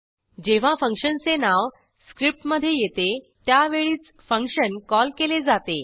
जेव्हा फंक्शनचे नाव स्क्रिप्टमधे येते त्यावेळीच फंक्शन कॉल केले जाते